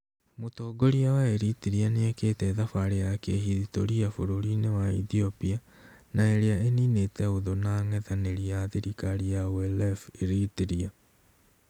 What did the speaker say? Mũtongoria wa Eritrea nĩekĩte thabarĩ ya kĩhithitoria bũrũri-inĩ wa Ethiopia na ĩrĩa ĩninĩte ũthũ na ang'ethanĩri a thirikari a OLF Eritrea.